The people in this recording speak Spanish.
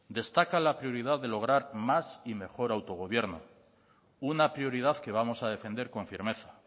destaca la prioridad de lograr más y mejor autogobierno una prioridad que vamos a defender con firmeza